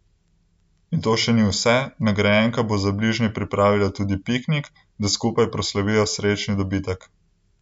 In to še ni vse, nagrajenka bo za bližnje pripravila tudi piknik, da skupaj proslavijo srečni dobitek.